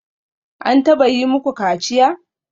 An taba yi muku kaciya?